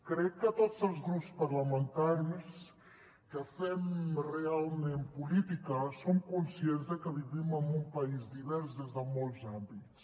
crec que tots els grups parlamentaris que fem realment política som conscients que vivim en un país divers des de molts àmbits